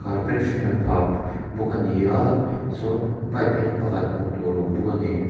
pet hring an phah bawk a ni a chuan pipe eng pakhat hmuh tur a awm bawk a ni.